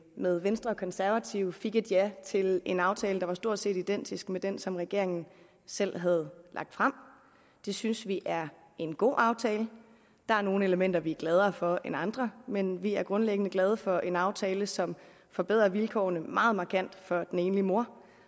med venstre og konservative fik et ja til en aftale der var stort set identisk med den som regeringen selv havde lagt frem det synes vi er en god aftale der er nogle elementer vi er gladere for end andre men vi er grundlæggende glade for en aftale som forbedrer vilkårene meget markant for den enlige mor